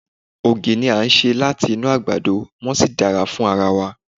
Ògì ni a ṣe láti inú àgbàdo, wón sì dára fún ara wa.